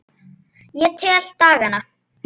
Ég tel dagana.